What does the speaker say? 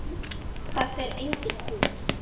Það fer enginn út!